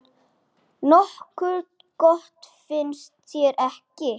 Nokkuð gott, finnst þér ekki?